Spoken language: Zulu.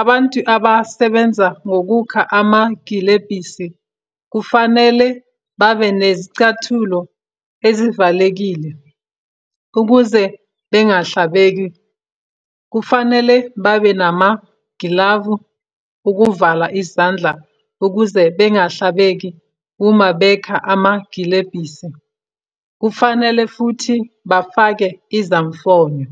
abantu abasebenza ngokukha amagilebhisi kufanele babe nezicathulo ezivalekile, ukuze bengahlabeki. Kufanele babe namagilavu ukuvala izandla ukuze bengahlabeki uma bekha amagilebhisi. Kufanele futhi bafake izamfonyo.